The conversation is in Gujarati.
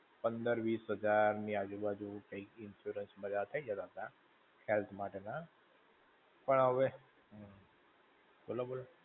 પંદર-વિસ હજાર ની આજુ-બાજુ કંઈક insurance બધા થઇ જતા હતા, health માટે ના, પણ હવે, બોલો-બોલો.